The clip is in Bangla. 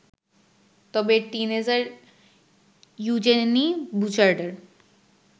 তবে 'টিনএজার' ইউজেনি বুচার্ডের